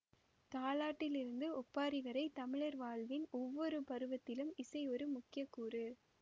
தாலாட்டில் இருந்து ஒப்பாரி வரை தமிழர் வாழ்வின் ஒவ்வொரு பருவத்திலும் இசை ஒரு முக்கிய கூறு